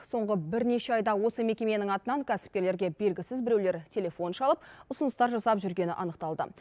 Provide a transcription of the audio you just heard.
соңғы бірнеше айда осы мекеменің атынан кәсіпкерлерге белгісіз біреулер телефон шалып ұсыныстар жасап жүргені анықталды